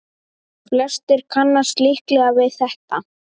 Flestir kannast líklega við þetta.